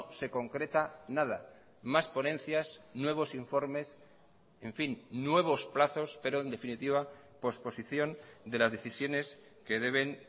se concreta nada más ponencias nuevos informes en fin nuevos plazos pero en definitiva posposición de las decisiones que deben